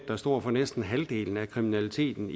der står for næsten halvdelen af kriminaliteten